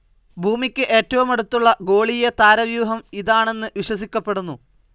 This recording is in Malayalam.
ഭൂമിക്ക് എറ്റവുമടുത്തുള്ള ഗോളീയ താരവ്യൂഹം ഇതാണെന്ന് വിശ്വസിക്കപ്പെടുന്നു.